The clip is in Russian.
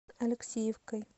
алексеевкой